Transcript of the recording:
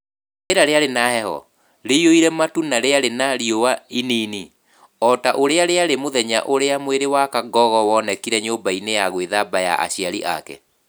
Rĩera rĩarĩ na heho, rĩiyũire matu na rĩarĩ na riũa ĩnini, o ta ũrĩa rĩarĩ mũthenya ũrĩa mwĩrĩ wa Kangogo wonekire nyũmba-inĩ ya gwĩthamba ya aciari ake.